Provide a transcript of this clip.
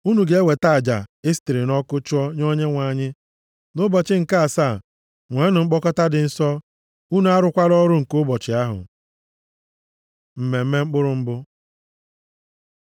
Unu ga-eweta aja e sitere nʼọkụ chụọ nye Onyenwe anyị. Nʼụbọchị nke asaa nweenụ mkpọkọta dị nsọ, unu arụkwala ọrụ nke ụbọchị ahụ.’ ” Mmemme Mkpụrụ Mbụ